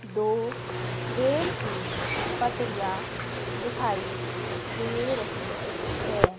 दो रेल की पटरियां दिखाई दे रही है।